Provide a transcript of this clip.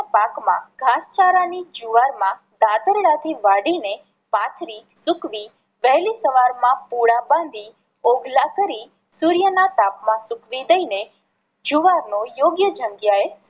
પાક માં ઘાસચારા ની જુવાર માં દાતરડા થી વાઢી ને પાથરી સૂકવી વહેલી સવારમાં પૂળા બાંધી ઓગલા કરી સુર્ય ના તાપમાં સૂકવી દઈ ને જુવાર નો યોગ્ય જગ્યા એ